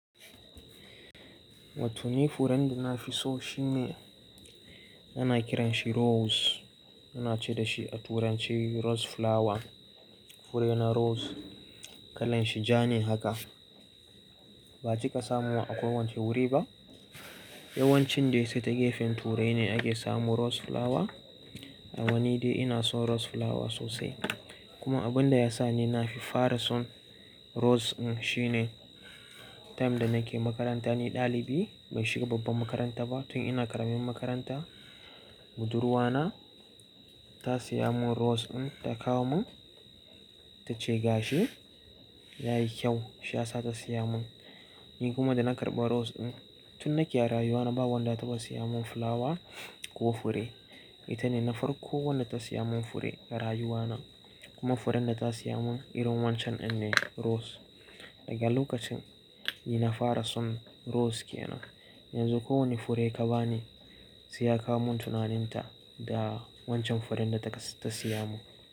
Wato ni furen da nafi so shine ana kiranshi rose. Ana ce dashi a turance rose flower. Furena rose, kalan shi ja ne haka. Ba a cika samu a kowacce wuri ba. Yawancin dai sai ta gefen turai ne ake samu rose flower. A mma ni dai ina son rose flower sosai. Kuma abun da yasa ni nafi fara son rose n shine, time da nake makaranta ni daliɓi, bai shiga babban makaranta ba tun ina karamin makaranta budurwa na ta siya mun rose n ta kawo mun, ta ce gashi yayi kyau shiyasa ta siya mun. Ni kuma da na karɓa rose n tun nake rayuwa na ba wanda ta ba siya mun flower ko fure. Ita ne na farko wadda ta siya mun fure a rayuwa na. Kuma furen da ta siya mun irin wancan ɗin ne rose. Daga lokacin ni na fara son rose kenan. Yanzu ko wane fure ka bani sai ya kawo mun tunaninta da wancan furen da ta siya mun.